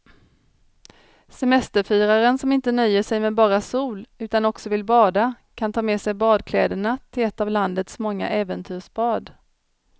Semesterfiraren som inte nöjer sig med bara sol utan också vill bada kan ta med sig badkläderna till ett av landets många äventyrsbad.